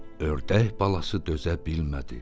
Ördək balası dözə bilmədi.